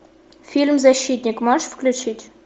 фильм защитник можешь включить